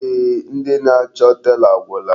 Eeh, ndị na-achọ tela agwụla.